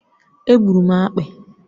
È gburu m akpị